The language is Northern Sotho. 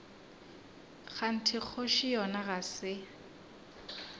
kganthe kgoši yona ga se